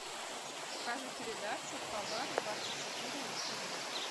покажи передачу хабар двадцать четыре на тв